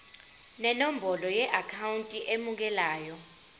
nenombolo yeakhawunti emukelayo